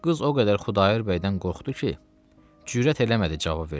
Qız o qədər Xudayar bəydən qorxdu ki, cürət eləmədi cavab versin.